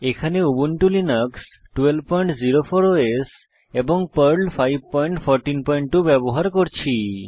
এখানে Ubuntu Linux 1204 OS এবং Perl 5142 ব্যবহার করছি